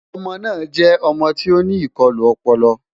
ọmọ na jẹ ọmọ tí oní ikọlu ọpọlọ